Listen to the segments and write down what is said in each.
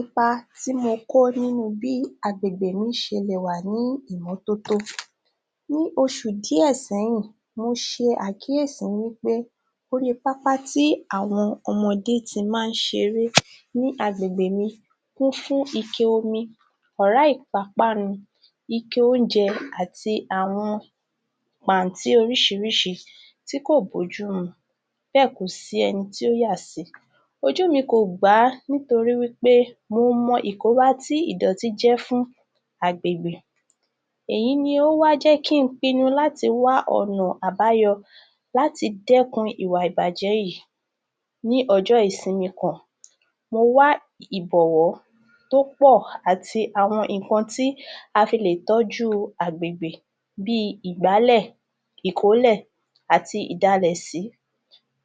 Ipa tí mo kó nínu bí agbègbe mi ṣe lè wà ní ìmọ́tótó. Ní oṣù díẹ̀ sẹ́yìn, mo ṣe àkíyèsí wí pé orí pápá tí àwọn ọmọdé ti máa ń ṣeré ní agbègbè mi kún fún ike omi, ọ̀rá ìpápánu, ike oúnjẹ àti àwọn pàntí oríṣiríṣi tí kò bójú mu, bẹ́ẹ̀ kò si ẹni tí ó yà sí i. Ojú mi kò gbà á nítorí wí pé mo mọ ìkóbá ti ìdọ̀tí jẹ́ fún agbègbè. Èyí ni ó wá jẹ́ kí n pinnu láti wá ọ̀nà àbáyọ láti dẹ́kun ìwà ìbàjẹ́ yìí. Ní ọjọ́ ìsinmi kan, mó wá ìbọ̀wọ́ tó pọ̀, àti àwọn nǹkan tí a fi lè tọ́jú agbègbè bíi ìgbálẹ̀, ìkólẹ̀ àti ìdalẹ̀sí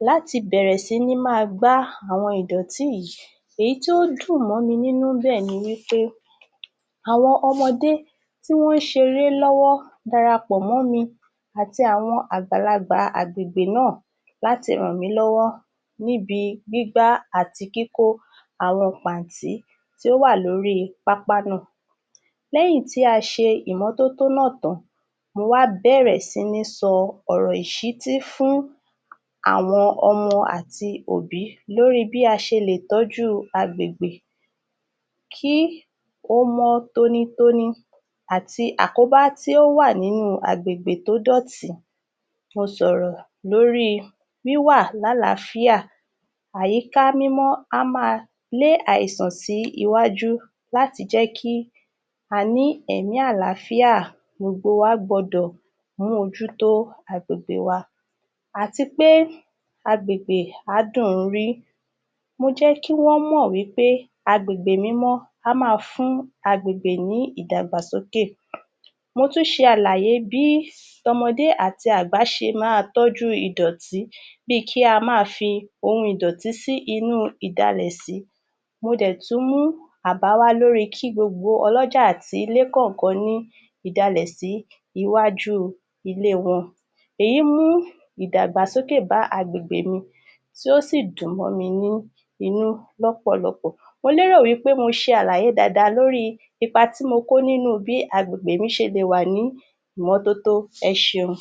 láti bẹ̀rẹ̀ sí ní máa gbá àwọn ìdọ̀tí. Èyí tí ó dùn mọ́ mi ínú nbẹ̀ ni wí pé àwọn ọmọdé tí wọ́n ń ṣeré lọ́wọ́ darapọ̀ mọ́ mi àti àwọn àgbàlagbà agbègbè náà láti ràn mí lọ́wọ́ níbi gbígbá àti kíkó àwọn pàntí tí ó wà lórí pápá náà. Lẹ́yìn tí a ṣe ìmọ́tótó náà tán, mo wá bẹ̀rẹ̀ sí ní sọ ọ̀rọ̀ ìṣítí fún àwọn ọmọ àti òbí lórí bí a ṣe lè tọ́jú agbègbè kí ó mọ́ tónítóní, àti àkóbá tó wà nínú agbègbè tó dọ̀tí. Mo sọ̀rọ̀ lóríi wíwà lálàáfíà. Àyíká mímọ́ á máa lé àìsàn sí iwájú láti jẹ́ kí a ní ẹ̀mí àlááfíà, gbogbo wa gbọdọ̀ mú ojú tó agbègbè wa. Àti pé agbègbè á dùn ún rí. Mo jẹ́ kí wọ́n mọ̀ wí pé agbègbè mímọ́ á máa fún agbègbè ní ìdàgbàsókè. Mo tún ṣe àlàyé bí tọmọdé àti àgbà ṣe máa tọ́jú ìdọ̀tí bíi kí a máa fi ohun ìdọ̀tí sí inú ìdalẹ̀sí, mo dẹ̀ tún mú àbá wá lóríi kí gbogbo ọlọ́jà àti ilé kọ̀ọ̀kan ní ìdalẹ̀sí iwájú ilé wọn. Èyí mú ìdàgbàsókè bá agbègbè mi tí ó sì dùn mọ́ mi ní inú lọ́pọ̀lọpọ̀. Mo lérò wí pé mo ṣe àlàyé dáadáa lóríi ipa tí mo kó nínú bí agbègbè mi ṣe lè wà ní ìmọ́tótó. Ẹ ṣeun.